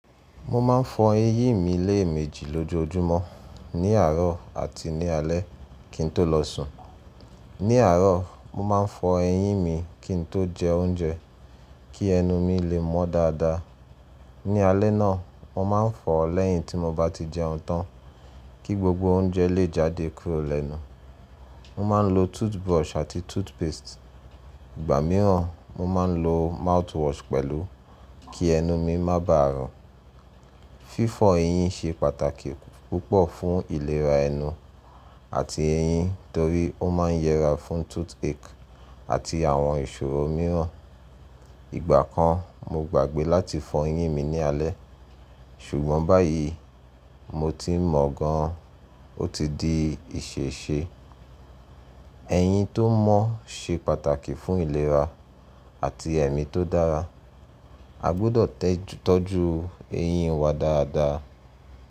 Mo ma n fọ eyín mi léèmejì lójoojúmọ́, ní àárọ̀ àti ní alé kí n tó lọ sùn. Ní àárọ̀, mo ma n fọ eyín mi kí n tó jẹ oúnjẹ kí ẹnu mi lè mọ́ dáadáa. Ní alẹ́ náà, mo ma n fọ ọ̀ lẹ́yìn tí mo bá ti jẹun tán kí gbogbo oúnjẹ lè jáde kúrò lẹ́nu. Mo ma n lo toothbrush àti toothpaste. Ìgbà mìíràn, mo ma n lo mouthwash pẹ̀lú kí ẹnu mi má baà rùn. Fífọ eyín ṣe pàtàkì púpọ̀ fún ìlera ẹnu àti eyín torí ó ma n yẹra fún toothache àti àwọn ìṣòro mìíràn. Ìgbà kan mo gbàgbẹ́ láti fọ eyín mi ní alẹ́ ṣùgbọ́n báyìí mo ti mọ̀ gan-an ó ti di ìṣèṣe. Eyín tó mọ́ ṣe pàtàkì fún ìlera àti ẹ̀mí tó dára. A gbọdọ̀ tọ́jú eyín wa dáadáa.